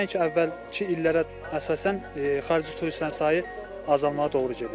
Nəinki əvvəlki illərə əsasən, xarici turistlərin sayı azalmağa doğru gedir.